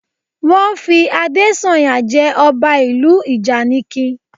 Wọ́n fi Adésànyà jẹ ọba ìlú ìjànikin